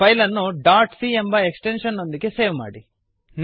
file ಅನ್ನು dot C ಎಂಬ extension ನೊಂದಿಗೆ ಸೇವ್ ಮಾಡಿ